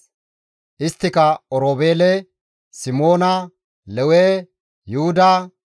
Isttika Oroobeele, Simoona, Lewe, Yuhuda,